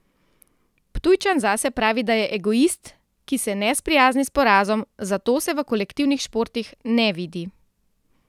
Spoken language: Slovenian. Ptujčan zase pravi, da je egoist, ki se ne sprijazni s porazom, zato se v kolektivnih športih ne vidi.